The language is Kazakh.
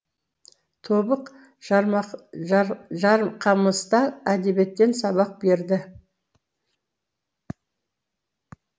тобық жарқамыста әдебиеттен сабақ берді